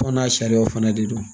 Fɔ n'a sariyaw fana de don